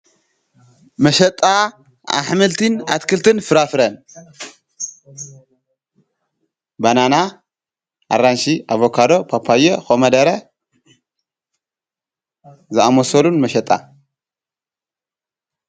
መሸጣ ኣሕምልቲን ኣትክልትን ፍራፍረን በናና ፣ኣራንሽ፣ ኣቦካዶ ፣ፓፓየ ፣ኾምደረ ዝኣመሶሉን መሸጣ።